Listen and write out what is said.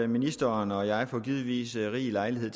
ministeren og jeg får givetvis rig lejlighed